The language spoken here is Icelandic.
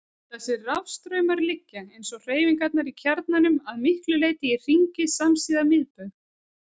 Þessir rafstraumar liggja, eins og hreyfingarnar í kjarnanum, að miklu leyti í hringi samsíða miðbaug.